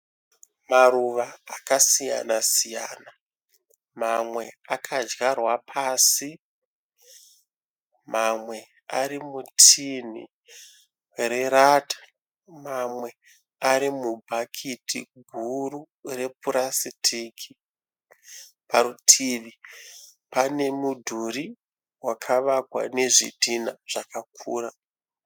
Maruva akasiyana siyana. Mamwe akadyarwa pasi, mamwe ari mutinhi rerata mamwe ari mubhakiti guru repurasitiki. Parutivi pane mudhuri wakavakwa nezvidhinha zvakakura.